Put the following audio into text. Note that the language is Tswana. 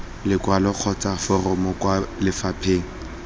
lekwalo kgotsa foromo kwa lefapheng